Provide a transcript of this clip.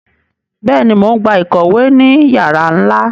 Béèni, Mo n gbà ìkòwé ní yara nla